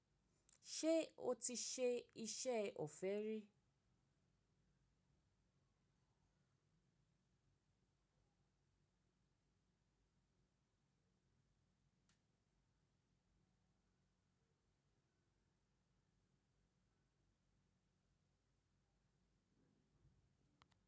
Ṣé o ti ṣe iṣẹ́ ọ̀fẹ́ rí?